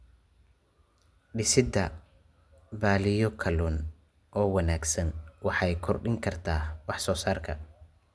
Dhisidda balliyo kalluun oo wanaagsan waxay kordhin kartaa wax soo saarka.